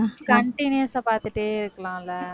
continuous ஆ பாத்துட்டே இருக்கலாம் இல்லை